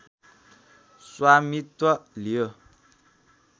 स्वामित्व लियो